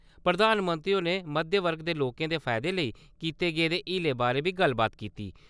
प्रधानमंत्री होरें मध्यम वर्ग दे लोकें दे फायदे लेई कीते गेदे हीलें बारै बी गल्लबात कीती।